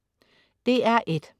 DR1: